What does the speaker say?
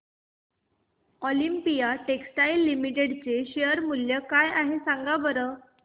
Olympia textiles limited चे share मूल्य काय आहे सांगा बरं